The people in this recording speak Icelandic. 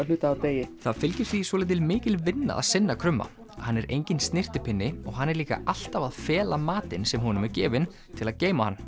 hluta úr degi það fylgir því svolítið mikil vinna að sinna krumma hann er enginn snyrtipinni og hann er líka alltaf að fela matinn sem honum er gefinn til að geyma hann